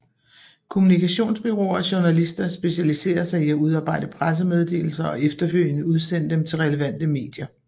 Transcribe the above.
Kommunikationsbureauer og journalister specialiserer sig i at udarbejde pressemeddelelser og efterfølgende udsende dem til relevante medier